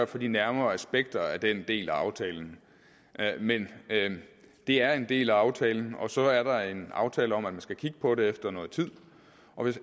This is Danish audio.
for de nærmere aspekter af den del af aftalen men det er en del af aftalen og så er der en aftale om at man skal kigge på det efter noget tid og